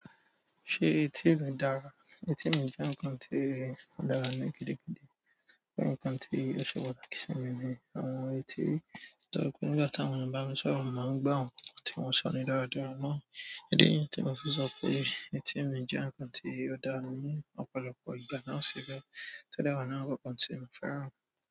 Ṣé etí rẹ dára? Etí mi jẹ́ ǹkan tí ó dára ní gidigidi, pé ǹkan tí ó ṣe pàtàkì sí mi ni àwọn etí. To jẹ pé nígbà táwọn èèyàn bá mi ṣọ̀rọ̀, mo máa ń gbọ wọ̀n tí wọn ṣọ́ni dáradára náà. Idi niyí tí mo fi sọ pé etí mi jẹ́ ǹkan tí ó dára ní ọ̀pọ̀lọpọ̀ ìgbà náà sì bẹ́ẹ̀. Ti o dẹ̀ wa lárà àwọn kàn tí mo fẹ́ràn.